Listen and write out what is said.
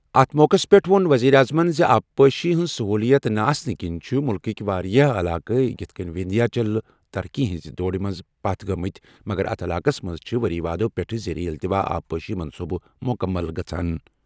اَتھ موقعَس پٮ۪ٹھ ووٚن وزیر اعظمَن زِ آبپاشی ہٕنٛز سٔہوٗلِیَت نہٕ آسنہٕ کِنہِ چھِ مُلکٕکہِ واریٛاہ علاقہٕ یِتھ کٔنۍ وِندھیا چل ترقی ہٕنٛزِ دوڑَس منٛز پتھ گٔمٕتۍ، مگر اتھ علاقَس منٛز چھِ ؤری وادو پٮ۪ٹھ زیر التوا آبپاشی منصوبہٕ مُکمل گژھان۔